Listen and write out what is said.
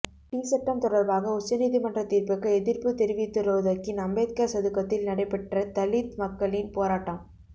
D சட்டம் தொடர்பாக உச்ச நீதிமன்ற தீர்ப்புக்கு எதிர்ப்பு தெரிவித்துரோதக்கின் அம்பேத்கார் சதுக்கத்தில் நடைபெற்ற தலித் மக்களின் போராட்டம்